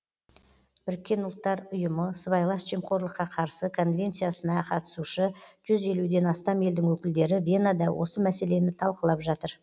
бірікккен ұлттар ұйымы сыбайлас жемқорлыққа қарсы конвенциясына қатысушы жүз елуден астам елдің өкілдері венада осы мәселені талқылап жатыр